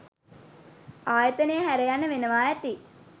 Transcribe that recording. ආයතනය හැර යන්න වෙනවා ඇති.